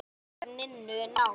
Samband ykkar Ninnu náið.